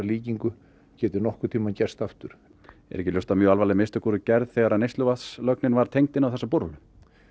líkingu geti nokkurn tímann gerst aftur er ekki ljóst að mjög alvarleg mistök voru gerð þegar neysluvatnslögn var tengd inn á borholuna